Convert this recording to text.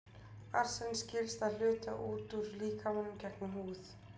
arsen skilst að hluta út úr líkamanum gegnum húð